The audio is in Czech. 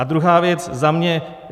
A druhá věc za mě.